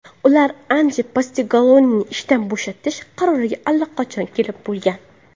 Ular Ange Postekogluni ishdan bo‘shatish qaroriga allaqachon kelib bo‘lgan.